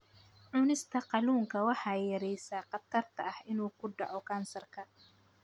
Cunista kalluunka waxay yaraynaysaa khatarta ah inuu ku dhaco kansarka.